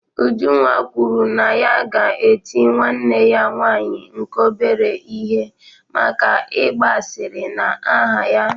Ujunwa kwuru na ya ga-eti nwanne ya nwanyị nke obere ihe maka ịgba asịrị na aha ya